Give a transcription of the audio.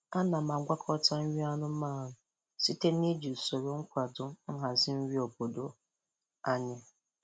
Ana m agwakọta nri anụmanụ site na iji usoro nkwado nhazi nri obodo anyị.